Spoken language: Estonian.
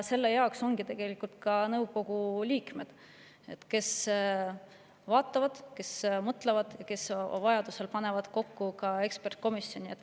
Selle jaoks ongi tegelikult nõukogu liikmed, kes vaatavad ja mõtlevad ning vajadusel panevad kokku ekspertkomisjoni.